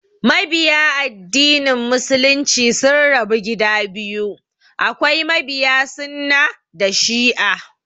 Mabiya addinin Muslunci sun rabu gida biyu, akwai mabiya sunnah da shi'a